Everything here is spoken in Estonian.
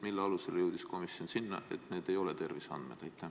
Mille alusel jõudis komisjon järelduseni, et need ei ole terviseandmed?